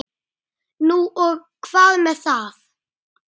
Það þyrmir yfir hann.